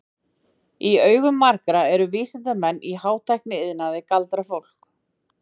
Í augum margra eru því vísindamenn í hátækniiðnaði galdrafólk.